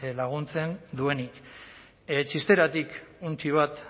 laguntzen duenik xisteratik untxi bat